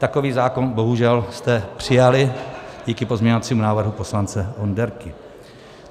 Takový zákon bohužel jste přijali díky pozměňovacímu návrhu poslance Onderky.